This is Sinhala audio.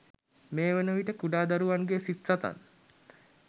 මේ වන විට කුඩා දරුවන්ගේ සිත් සතන්